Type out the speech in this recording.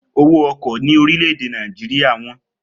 Owó ọkọ̀ ní orílè èdè Nàìjíríà wọ́n